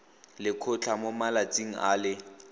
lekgotlha mo malatsing a le